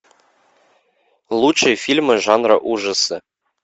лучшие фильмы жанра ужасы